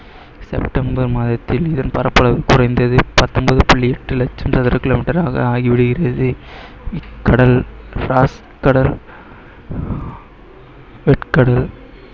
September மாதத்தில் இதன் பரப்பளவு குறைந்தது பத்தொன்பது புள்ளி எட்டு லட்சம் சதுர kilometer ஆக ஆகி விடுகிறது கடல் கடல் வெட் கடல்